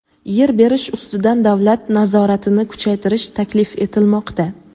Yer berish ustidan davlat nazoratini kuchaytirish taklif etilmoqda.